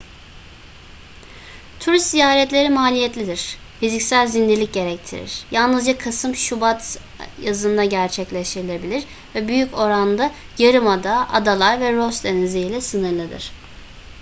turist ziyaretleri maliyetlidir fiziksel zindelik gerektirir yalnızca kasım-şubat yazında gerçekleştirilebilir ve büyük oranda yarımada adalar ve ross denizi ile sınırlıdır